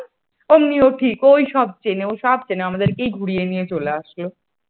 ওমনি ও ঠিক ওই সব চেনে ও সব চেনে আমাদেরকেই ঘুরিয়ে নিয়ে চলে আসলো ।